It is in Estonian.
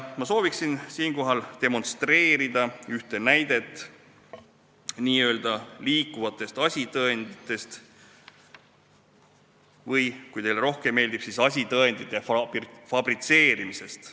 Ma soovin siinkohal demonstreerida ühte näidet n-ö liikuvate asitõendite või kui teile nii rohkem meeldib, siis asitõendite fabritseerimise kohta.